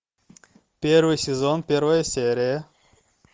первый сезон первая серия